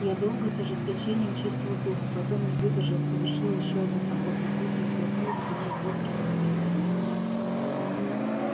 я долго с ожесточением чистил зубы потом не выдержал совершил ещё один поход на кухню и глотнул ледяной водки из морозильника